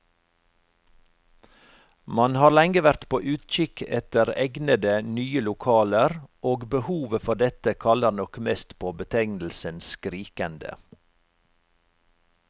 Man har lenge vært på utkikk etter egnede, nye lokaler, og behovet for dette kaller nok mest på betegnelsen skrikende.